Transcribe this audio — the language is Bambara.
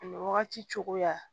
A bɛ wagati cogoya